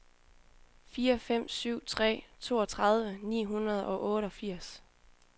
fire fem syv tre toogtredive ni hundrede og otteogfirs